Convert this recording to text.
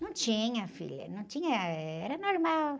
Não tinha, filha, não tinha, eh, ah, era normal.